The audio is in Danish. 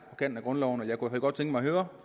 kant med grundloven jeg kunne godt tænke mig at høre